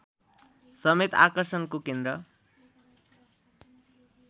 समेत आकर्षणको केन्द्र